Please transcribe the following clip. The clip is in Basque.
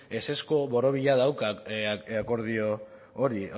ezezko borobila dauka akordio hori